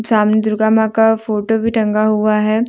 सामने दुर्गा मां का फोटो भी टंगा हुआ है।